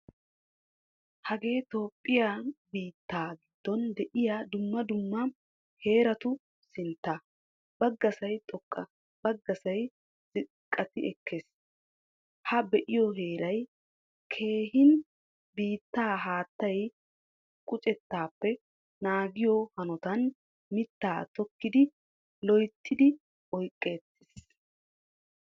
Hagee Toophphiya biittaa giddon de'iyaa dumma dumma heeraatu sinttaa. Baggasay xoqqa, baggasay ziiqqatti ekkees. Ha be'iyo heeray keehin biittaa haattaa quccettappe naagiyo hannottan miittaa tokkidi loyttidi oyqqetiis.